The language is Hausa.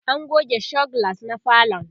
an goge show glass na falon